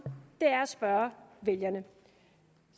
er at spørge vælgerne